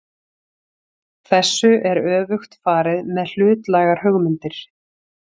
Þessu er öfugt farið með hlutlægar hugmyndir.